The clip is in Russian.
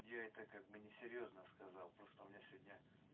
я это как бы не серьёзно сказал просто у меня сегодня